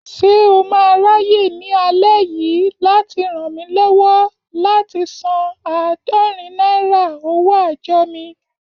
Ṣé o máa ráyè ní alẹ́ yìí láti ràn mí lọ́wọ́ láti san àádorin náírà owó àjọ mi?